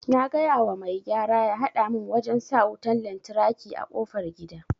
Na gayawa mai gyara ya hada mun wajen sa wutan lantraki a kofar gida